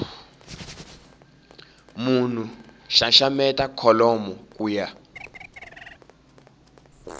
munhu xaxameta kholomo ku ya